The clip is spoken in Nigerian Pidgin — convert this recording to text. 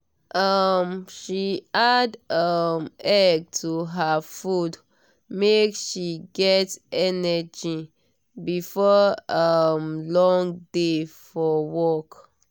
um she add um egg to her food make she get energy before um long day for work.